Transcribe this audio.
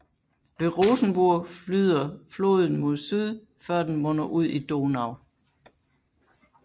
Ved Rosenburg flyder floden mod syd før den munder ud i Donau